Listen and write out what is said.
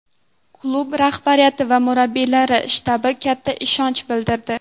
Klub rahbariyati va murabbiylar shtabi katta ishonch bildirdi.